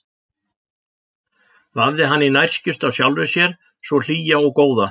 Vafði hana í nærskyrtu af sjálfri sér svo hlýja og góða.